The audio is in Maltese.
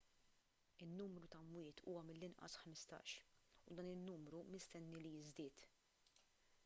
in-numru ta' mwiet huwa mill-inqas 15 u dan in-numru mistenni li jiżdied